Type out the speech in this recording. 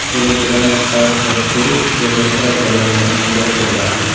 Yo‘lovchilarni chiqarish va tushirish yig‘ma trap yordamida amalga oshiriladi.